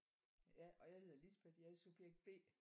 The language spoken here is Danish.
Ja og jeg hedder Lisbeth og jeg er subjekt B